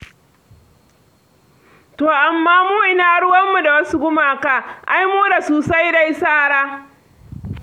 To amma mu ina ruwanmu da wasu gumaka? Ai mu da su sai dai sara.